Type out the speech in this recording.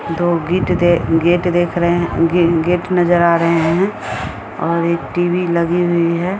दो गीत गेट देख रहे हैं गेट नजर आ रहे हैं और एक टी.वी. लगी हुई है।